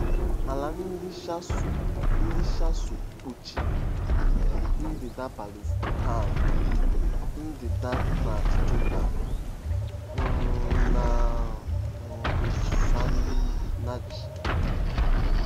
Ala ndị Shasu ndị Shasu kpuchiri ndịda Palestine, ndịda Transjordan, um na um Saịnaị.